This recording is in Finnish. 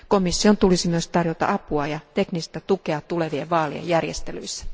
Komission tulisi myös tarjota apua ja teknistä tukea tulevien vaalien järjestelyissä.